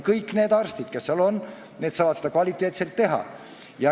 Kõik need arstid, kes seal on, saavad seda kvaliteetselt teha.